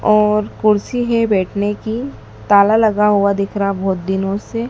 और कुर्सी है बैठने की ताला लगा हुआ दिख रहा बहुत दिनों से।